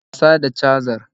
Dena wasa da cajar